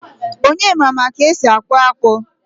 Onyema ma ka esi akpu akpu